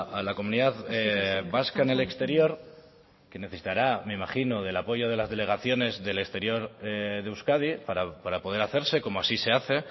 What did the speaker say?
a la comunidad vasca en el exterior que necesitará me imagino del apoyo de las delegaciones del exterior de euskadi para poder hacerse como así se hace